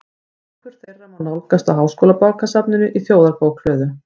Bækur þeirra má nálgast á Háskólabókasafninu í Þjóðarbókhlöðu.